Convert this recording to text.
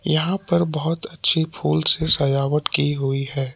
यहां पर बहुत अच्छी फूल से सजावट की हुई है।